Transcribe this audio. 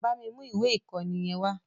Bámi mú ìwé ìkọ́ni yẹn!